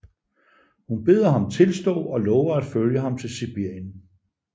Hun beder ham tilstå og lover at følge ham til Sibirien